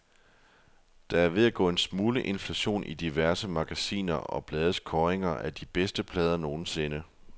Der er ved at gå en smule inflation i diverse magasiner og blades kåringer af de bedste plader nogensinde.